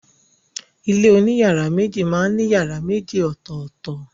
Ilé oní yàrá méjì máa ń ní yàrá méjì ọ̀tọ̀tọ̀.